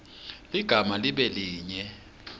ligama libe linye